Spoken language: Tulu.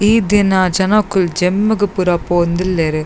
ಈ ದಿನ ಜನೊಕುಲ್ ಜಿಮ್ ಗ್ ಪೂರ ಪೋವೊಂದು ಉಲ್ಲೆರ್.